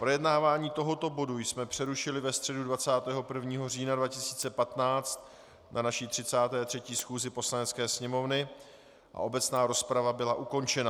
Projednávání tohoto bodu jsme přerušili ve středu 21. října 2015 na naší 33. schůzi Poslanecké sněmovny a obecná rozprava byla ukončena.